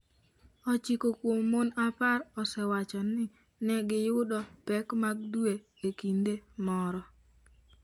ochiko kuom mon apar osewacho ni ne giyudo pek mag dwe e kinde moro.